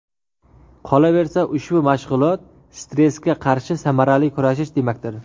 Qolaversa, ushbu mashg‘ulot stressga qarshi samarali kurashish demakdir.